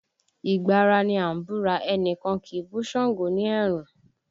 Ìgbà ara ní a ń búra, ẹnikan ki í bú Sango ní ẹ̀rùn